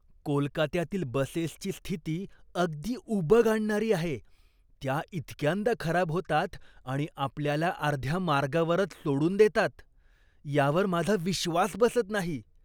कोलकात्यातील बसेसची स्थिती अगदी उबग आणणारी आहे! त्या इतक्यांदा खराब होतात आणि आपल्याला अर्ध्या मार्गावरच सोडून देतात यावर माझा विश्वास बसत नाही.